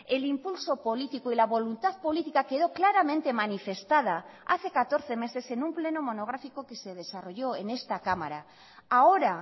el impulso político y la voluntad política quedó claramente manifestada hace catorce meses en un pleno monográfico que se desarrolló en esta cámara ahora